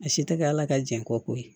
A si tɛ kɛ ala ka jɛ ko ko ye